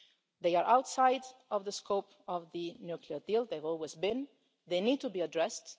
They are outside the scope of the nuclear deal they always have been. They need to be addressed.